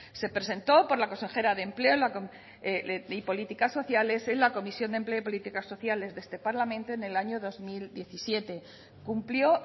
se presentó por la consejera de empleo y políticas sociales en la comisión de empleo y políticas sociales de este parlamento en el año dos mil diecisiete cumplió